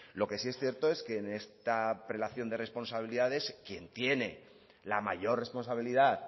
lo que sí es cierto es que en esta prelación de responsabilidades quien tiene la mayor responsabilidad